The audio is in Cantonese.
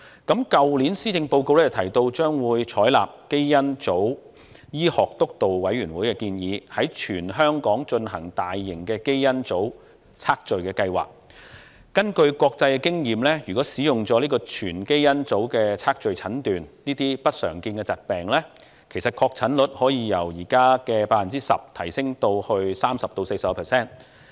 去年施政報告提到，將會採納基因組醫學督導委員會的建議，在全港進行大型的基因組測序計劃，根據國際經驗，如果使用全基因組測序診斷這些不常見疾病，其實確診率可從現時 10% 提升至 30% 至 40%。